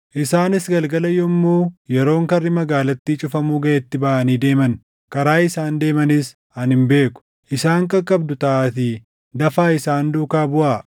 Isaanis galgala yommuu yeroon karri magaalattii cufamu gaʼetti baʼanii deeman. Karaa isaan deemanis ani hin beeku. Isaan qaqqabdu taʼaatii dafaa isaan duukaa buʼaa.”